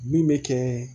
Min bɛ kɛ